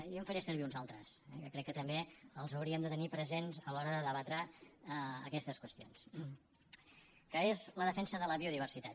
jo en faré servir uns altres que crec que també els hauríem de tenir presents a l’hora de debatre aquestes qüestions que és la defensa de la biodiversitat